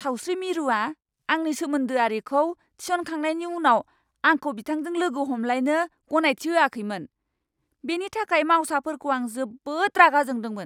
सावस्रि मिरुआ आंनि सोमोन्दोआरिखौ थिसनखांनायनि उनाव आंखौ बिथांजों लोगो हमलायनो गनायथि होआखैमोन। बेनि थाखाय मावसाफोरखौ आं जोबोद रागा जोंदोंमोन!